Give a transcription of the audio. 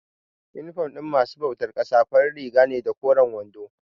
Inifom ɗin masu bautar ƙasa farin riga ne da koren wando.